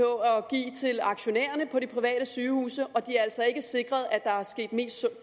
i aktionærerne i de private sygehuse og det er altså ikke sikret at der er